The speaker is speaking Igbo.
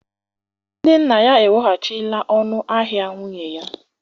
Ndị nna ya eweghachila ọnụ ahịa nwunye ya